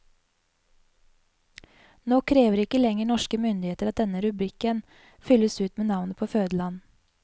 Nå krever ikke lenger norske myndigheter at denne rubrikken fylles ut med navnet på fødeland.